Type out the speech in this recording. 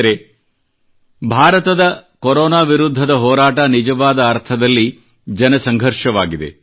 ಸ್ನೇಹಿತರೆ ಭಾರತದ ಕೊರೊನಾ ವಿರುದ್ಧದ ಹೋರಾಟ ನಿಜವಾದ ಅರ್ಥದಲ್ಲಿ ಜನಸಂಘರ್ಷವಾಗಿದೆ